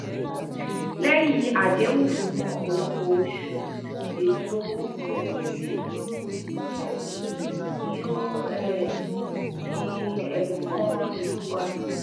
lẹyin adẹhun fun ọpọlọpọ oṣu eto ounjẹ pinpin o um i o um i um kan ilu wa